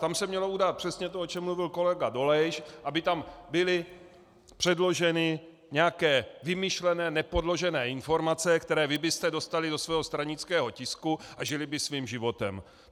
Tam se mělo udát přesně to, o čem mluvit kolega Dolejš, aby tam byly předloženy nějaké vymyšlené, nepodložené informace, které vy byste dostali do svého stranického tisku a žily by svým životem.